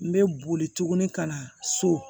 N bɛ boli tuguni ka na so